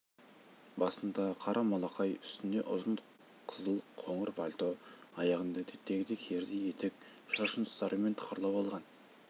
басында қара малақай үстінде ұзын қызыл қоңыр пальто аяғында әдеттегідей керзі етік шашын ұстарамен тықырлап алған